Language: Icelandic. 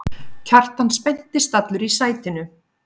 Kjartan spenntist allur í sætinu.